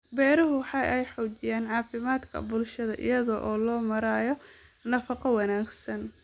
Beeruhu waxa ay xoojiyaan caafimaadka bulshada iyada oo loo marayo nafaqo wanaagsan.